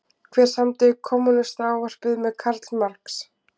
Hver samdi Kommúnistaávarpið með Karl Marx?